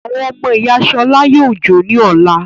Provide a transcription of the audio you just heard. Àwọn ọmọ ìyá Ṣọlá yóò jó ní ọ̀la.